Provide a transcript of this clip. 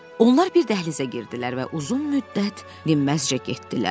Onlar bir dəhlizə girdilər və uzun müddət dinməzcə getdilər.